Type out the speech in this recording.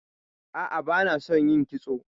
A'a, bana son yin kitso.